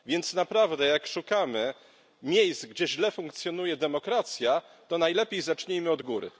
Więc naprawdę jak szukamy miejsc, gdzie źle funkcjonuje demokracja, to najlepiej zacznijmy od góry.